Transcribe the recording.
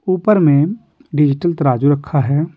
ऊपर में डिजिटल तराजू रखा है।